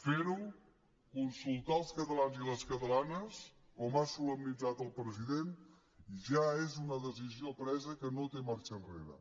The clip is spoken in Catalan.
ferho consultar els catalans i les catalanes com ha solemnitzat el president ja és una decisió presa que no té marxa enrere